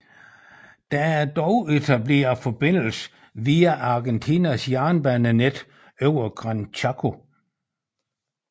Der er dog etableret forbindelse via Argentinas jernbanenet over Gran Chaco